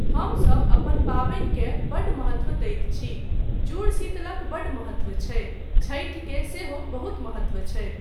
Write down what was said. हमसब अपन पाबनिकेँ बड्ड महत्त्व दैत छी, जूड़शीतलक बड्ड महत्त्व छै, छठि के सेहो बहुत महत्त्व छै।